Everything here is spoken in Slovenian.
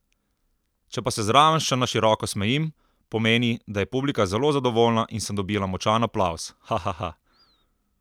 Če pa se zraven še na široko smejim, pomeni, da je publika zelo zadovoljna in sem dobila močan aplavz, hahaha!